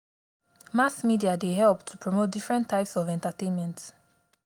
mass media dey help to promote diferent types of entertainment